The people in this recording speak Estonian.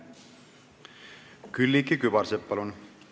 Külliki Kübarsepp, palun!